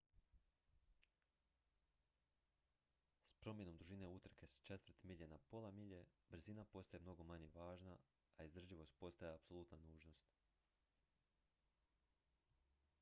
s promjenom dužine utrke s četvrt milje na pola milje brzina postaje mnogo manje važna a izdržljivost postaje apsolutna nužnost